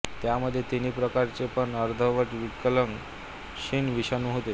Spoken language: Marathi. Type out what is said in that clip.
त्यामध्ये तिन्ही प्रकारचे पण अर्धवट विकलांग क्षीण विषाणू होते